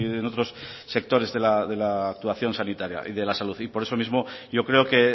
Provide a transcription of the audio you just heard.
en otros sectores de la actuación sanitaria y de la salud por eso mismo yo creo que